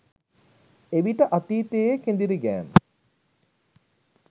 එවිට අතීතයේ කෙඳිරිගෑම්